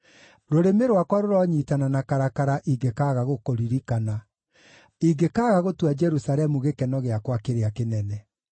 Rũrĩmĩ rwakwa rũronyiitana na karakara ingĩkaaga gũkũririkana, ingĩkaaga gũtua Jerusalemu gĩkeno gĩakwa kĩrĩa kĩnene.